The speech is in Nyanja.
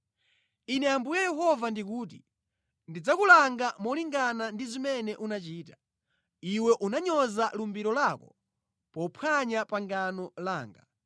“ ‘Ine Ambuye Yehova ndikuti: Ndidzakulanga molingana ndi zimene unachita. Iwe unanyoza lumbiro lako pophwanya pangano langa.